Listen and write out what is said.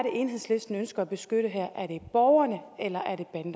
enhedslisten ønsker at beskytte her er det borgerne eller